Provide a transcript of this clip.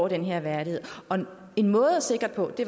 den her værdighed og en måde at sikre det